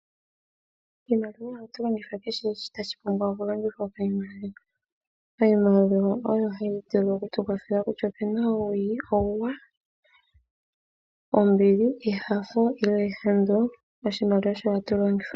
Iimaliwa ohatuyi longitha kehe shoka tashi pumbwa okulongithwa. Iimaliwa oyo hayi vulu okutukwathela, kutya opuna uuwinayi, uuwanawa, ombili, enyanyu, nenge ehandu, oshimaliwa osho hatu longitha.